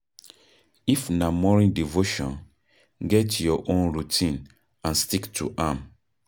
if na morning devotion, get your own routine and stick to am